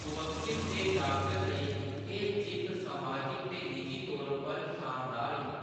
"मुवक्किल ते डाक्टर लेई, एह्‌‌ जित्त समाजिक ते निजी तौर पर शानदार ही"।